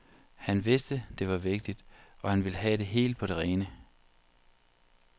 Han vidste, det var vigtigt, og han ville have det helt på det rene.